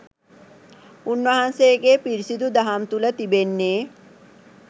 උන්වහන්සේගේ පිරිසිදු දහම තුළ තිබෙන්නේ